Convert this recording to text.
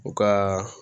U ka